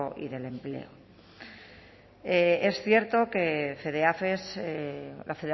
y del empleo es cierto que fedeafes la